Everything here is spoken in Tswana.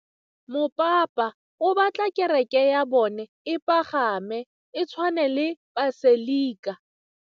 Mopapa o batla kereke ya bone e pagame, e tshwane le paselika.